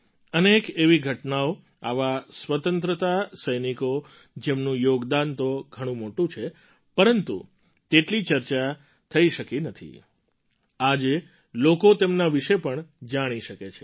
અનેક એવી ઘટનાઓ આવા સ્વતંત્રતા સૈનિકો જેમનું યોગદાન તો ઘણું મોટું છે પરંતુ તેટલી ચર્ચા નથી થઈ શકી આજે લોકો તેમના વિશે પણ જાણી શકે છે